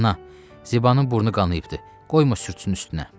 Ana, Zibanın burnu qanıyıbdır, qoyma sürtsün üstünə.